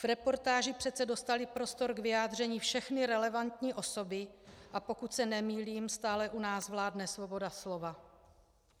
V reportáži přece dostaly prostor k vyjádření všechny relevantní osoby, a pokud se nemýlím, stále u nás vládne svoboda slova.